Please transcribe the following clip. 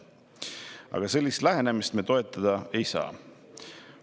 Aga sellist lähenemist me toetada ei saa.